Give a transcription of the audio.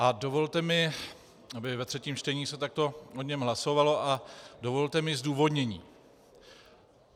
A dovolte mi, aby ve třetím čtení se takto o něm hlasovalo a dovolte mi zdůvodnění.